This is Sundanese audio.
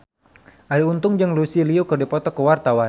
Arie Untung jeung Lucy Liu keur dipoto ku wartawan